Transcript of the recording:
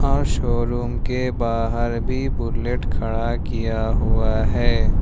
और शोरूम के बाहर भी बुलेट खड़ा किया हुआ है।